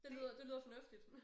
Det lyder det lyder fornuftigt